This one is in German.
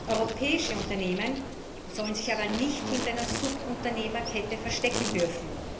Europäische Unternehmen sollen sich aber nicht hinter einer Subunternehmerkette verstecken dürfen.